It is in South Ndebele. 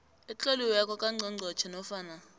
etloliweko kangqongqotjhe nofana